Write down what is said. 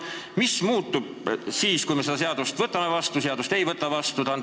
Mis muutub siis, kui me selle seaduse vastu võtame, ja mis juhtub, kui me ei võta seda seadust vastu?